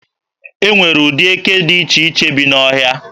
E nwere ụdị eke dị iche iche bi n'ọhịa.